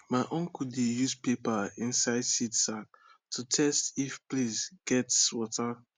my uncle dey use paper inside seed sack to test if place gets water